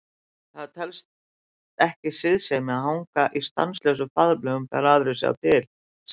Það telst ekki siðsemi að hanga í stanslausum faðmlögum þegar aðrir sjá til, sagði